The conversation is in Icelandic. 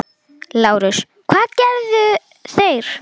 LÁRUS: Hvað gerðu þeir?